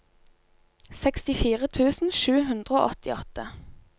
sekstifire tusen sju hundre og åttiåtte